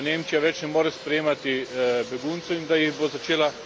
več ne more sprejemati beguncev in da jih bo začela vračati.